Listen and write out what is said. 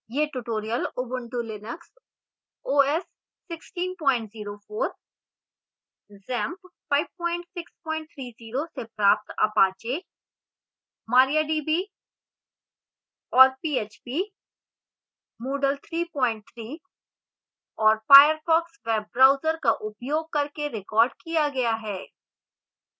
यह tutorial ubuntu linux os 1604 xampp 5630 से प्राप्त apache mariadb और php moodle 33 और firefox वेब ब्राउजर का उपयोग करके recorded किया गया है